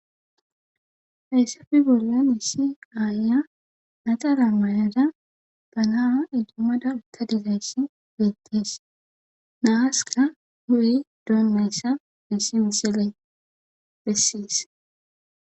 Hayssafe bollon iisi aaiya naxara maayada banaa idommada utta dizayssi beettees naaska hu'ey doonnayssa bissi misile bessees.